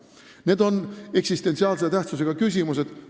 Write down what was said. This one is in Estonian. Need on eksistentsiaalse tähtsusega küsimused.